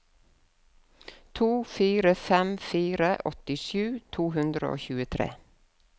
to fire fem fire åttisju to hundre og tjuetre